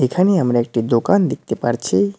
এখানে আমরা একটি দোকান দেখতে পারছি।